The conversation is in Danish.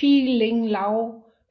Pui Ling Lau